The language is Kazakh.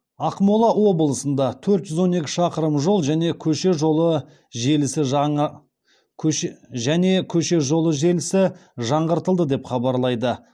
ақмола облысында төрт жүз он екі шақырым жол және көше жолы желісі жаңғыртылды деп хабарлайды